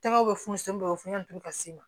Tɛgɛ bɛ funu bɛ funu turu ka se